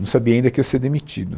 Não sabia ainda que eu ia ser demitido.